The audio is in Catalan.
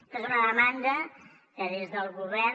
aquesta és una demanda que des del govern